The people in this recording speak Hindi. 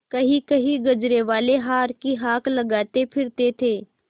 कहींकहीं गजरेवाले हार की हाँक लगाते फिरते थे